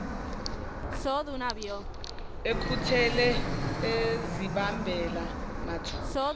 ekhuthele ezibambela mathupha